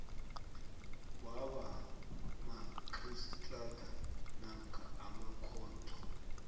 wabomarhistrada namkha emakhotho